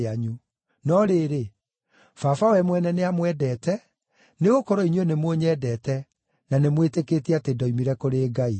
No rĩrĩ, Baba we mwene nĩamwendete, nĩgũkorwo inyuĩ nĩmũnyendete, na nĩmwĩtĩkĩtie atĩ ndoimire kũrĩ Ngai.